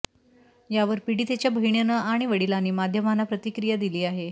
यावर पीडितेच्या बहिणीनं आणि वडिलांनी माध्यमांना प्रतिक्रिया दिली आहे